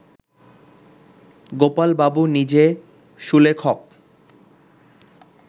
গোপাল বাবু নিজে সুলেখক